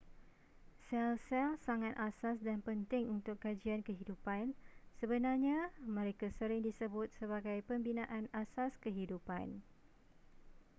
sel-sel sangat asas dan penting untuk kajian kehidupan sebenarnya mereka sering disebut sebagai pembinaan asas kehidupan